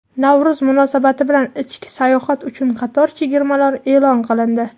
Navro‘z munosabati bilan ichki sayohat uchun qator chegirmalar e’lon qilindi.